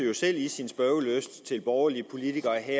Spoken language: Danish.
jo selv i sin spørgelyst til borgerlige politikere